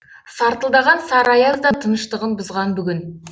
сартылдаған сары аяз да тыныштығын бұзған бүгін